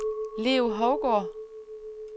Leo Hougaard